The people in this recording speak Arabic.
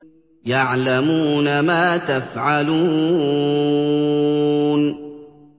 يَعْلَمُونَ مَا تَفْعَلُونَ